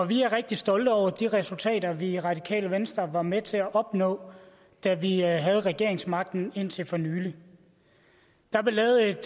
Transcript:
vi er rigtig stolte over de resultater vi i radikale venstre var med til at opnå da vi havde regeringsmagten indtil for nylig der blev lavet et